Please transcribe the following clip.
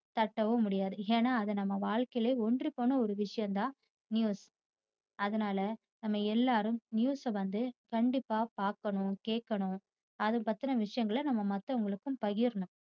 தட்டவும் முடியாது ஏன்னா அது நம்ம வாழ்க்கையில்ல ஒன்றி போன ஒரு விஷயம் தான் news. அதனால நாம எல்லாரும் news வந்து கண்டிப்பா பாக்கணும், கேக்கணும். அதபத்தின விஷயங்களை நம்ம மத்தவங்களுக்கு பகிரணும்